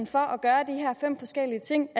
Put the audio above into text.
for at gøre de her fem forskellige ting